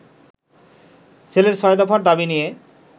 ছেলেরা ছয় দফার দাবি নিয়ে